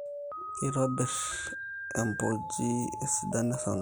Keitobir embojii esidano esarngab